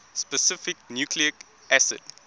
specific nucleic acid